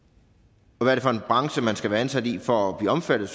og hvad er det for en branche man skal være ansat i for at blive omfattet